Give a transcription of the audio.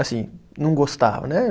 Assim, não gostava, né?